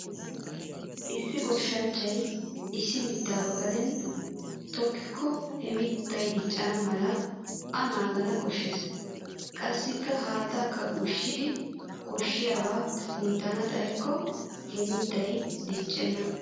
Issi goshshanchchay issi mittaa ba gaden tokkikko he mittay diccana mala a naagana koshshees. Qassi haattaakka ushshidi koshshiyaabaa kunttana xayikko he mittay diccenna.